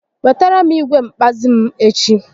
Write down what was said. Wetara m igwe nkpazi m echi